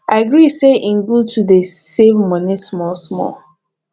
i gree say im good to dey save money small small